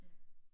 Ja